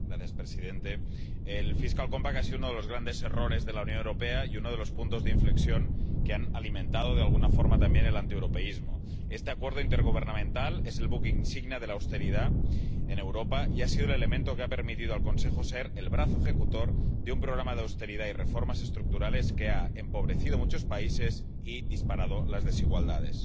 Señor presidente, el Pacto Presupuestario ha sido uno de los grandes errores de la Unión Europea y uno de los puntos de inflexión que han alimentado de alguna forma también el antieuropeísmo. Este acuerdo intergubernamental es el buque insignia de la austeridad en Europa y ha sido el elemento que ha permitido al Consejo ser el brazo ejecutor de un programa de austeridad y reformas estructurales que ha empobrecido a muchos países y disparado las desigualdades.